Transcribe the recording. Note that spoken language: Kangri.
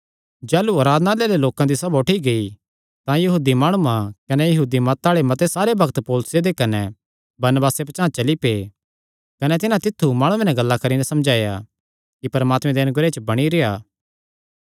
जाह़लू आराधनालय दे लोक दी सभा उठी गेई तां यहूदी माणुआं कने यहूदी मत आल़े मते सारे भक्त पौलुसे दे कने बरनबासे पचांह़ चली पै कने तिन्हां तित्थु माणुआं नैं गल्लां करी नैं समझाया कि परमात्मे दे अनुग्रह च बणी रेह्आ